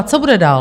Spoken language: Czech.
A co bude dál?